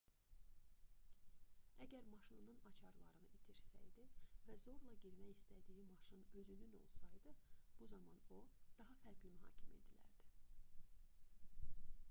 əgər maşınının açarlarını itirsəydi və zorla girmək istədiyi maşın özünün olsaydı bu zaman o daha fərqli mühakimə edilərdi